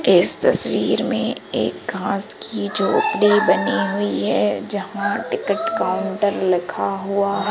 इस तस्वीर में एक घास की झोपड़ी बनी हुई है जहां टिकट काउंटर लिखा हुआ--